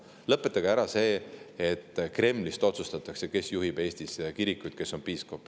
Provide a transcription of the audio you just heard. Et nad lõpetaksid ära selle, et Kremlist otsustatakse, kes juhib Eestis kirikuid ja kes on piiskopid.